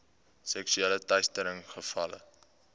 seksuele teistering gevalle